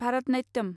Bharatanatyam